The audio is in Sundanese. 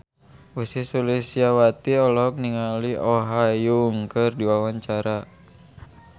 Ussy Sulistyawati olohok ningali Oh Ha Young keur diwawancara